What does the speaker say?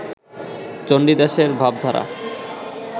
চণ্ডীদাসের ভাবধারা